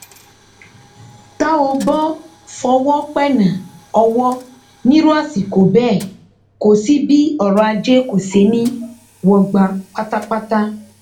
tá ò bó fọwọ pẹẹná owó nírú àsìkò bẹẹ kò sí bí ọrọajé kò ṣeé ní í wọgbá pátápátá